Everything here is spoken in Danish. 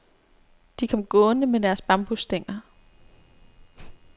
De kom gående med deres bambusstænger.